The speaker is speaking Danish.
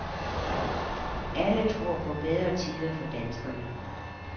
Alle tror på bedre tider for danskerne.